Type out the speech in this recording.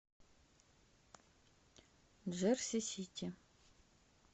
джерси сити